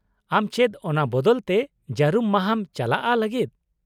-ᱟᱢ ᱪᱮᱫ ᱚᱱᱟ ᱵᱚᱫᱚᱞ ᱛᱮ ᱡᱟᱹᱨᱩᱢ ᱢᱟᱦᱟᱢ ᱪᱟᱞᱟᱜᱼᱟ ᱞᱟᱜᱤᱫ ?